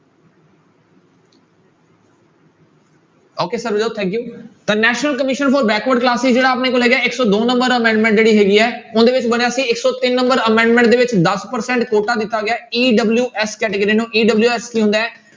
okay Sarabjot thank you ਤਾਂ national commission for backward classes ਜਿਹੜਾ ਆਪਣੇ ਕੋਲ ਹੈਗਾ ਹੈ ਇੱਕ ਸੌ ਦੋ number amendment ਜਿਹੜੀ ਹੈਗੀ ਹੈ ਉਹਦੇ ਵਿੱਚ ਬਣਿਆ ਸੀ ਇੱਕ ਸੌ ਤਿੰਨ number amendment ਦੇ ਵਿੱਚ ਦਸ percent ਕੋਟਾ ਦਿੱਤਾ ਗਿਆ ਹੈ EWS category ਨੂੰ EWS ਕੀ ਹੁੰਦਾ ਹੈ।